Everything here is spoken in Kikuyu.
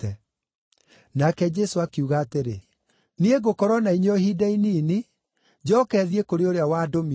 Nake Jesũ akiuga atĩrĩ, “Niĩ ngũkorwo na inyuĩ o ihinda inini, njooke thiĩ kũrĩ ũrĩa wandũmire.